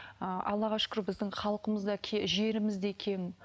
ыыы аллаға шүкір біздің халқымыз да жеріміз де кең